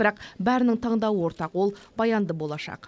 бірақ бәрінің таңдауы ортақ ол баянды болашақ